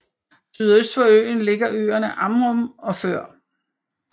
Sydøst for øen ligger øerne Amrum og Før